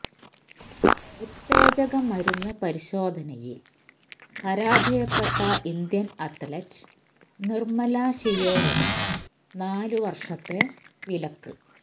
ഉത്തേജക മരുന്ന് പരിശോധനയിൽ പരാജയപ്പെട്ട ഇന്ത്യൻ അത്ലറ്റ് നിർമ്മല ഷിയോറന് നാല് വർഷത്തെ വിലക്ക്